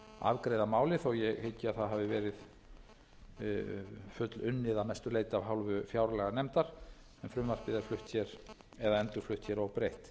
afgreiða málið þó að ég hyggi að það hafi verið fullunnið að mestu leyti af hálfu fjárlaganefndar en frumvarpið er endurflutt hér óbreytt